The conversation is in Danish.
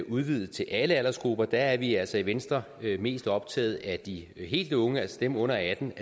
udvidet til alle aldersgrupper der er vi altså i venstre mest optaget af at de helt unge altså dem under atten